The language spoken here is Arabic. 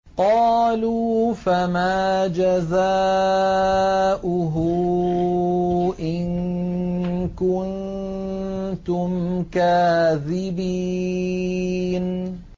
قَالُوا فَمَا جَزَاؤُهُ إِن كُنتُمْ كَاذِبِينَ